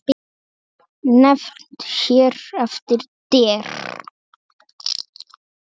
Nefnd hér eftir: Der